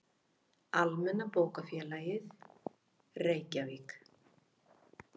Almenna bókafélagið, Reykjavík.